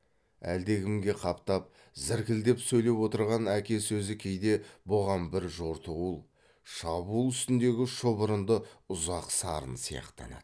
әлдекімге қаптап зіркілдеп сөйлеп отырған әке сөзі кейде бұған бір жортуыл шабуыл үстіндегі шұбырынды ұзақ сарын сияқтанады